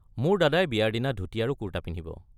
মোৰ দাদাই বিয়াৰ দিনা ধূতি আৰু কুৰ্টা পিন্ধিব।